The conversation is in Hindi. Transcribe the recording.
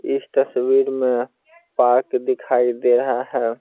इस तस्वीर में पार्क दिखाई दे रहा है।